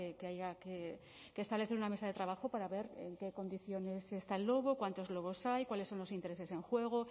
que haya que establecer una mesa de trabajo para ver en qué condiciones está el lobo cuántos lobos hay cuáles son los intereses en juego